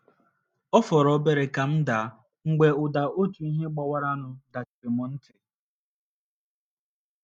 Ọ fọrọ obere ka m daa, mgbe ụda otu ihe gbawaranụ dachiri mụ ntị.